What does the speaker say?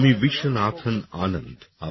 আমি বিশ্বনাথন আনন্দ